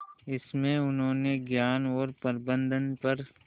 इसमें उन्होंने ज्ञान और प्रबंधन पर